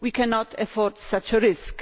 We cannot afford such a risk.